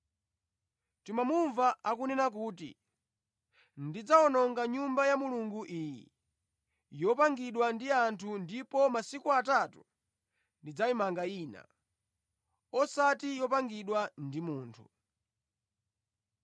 “Tamumva akunena kuti, ‘Ndidzawononga Nyumba ya Mulungu iyi yopangidwa ndi anthu ndipo mʼmasiku atatu ndidzamanga ina, osati yopangidwa ndi munthu.’ ”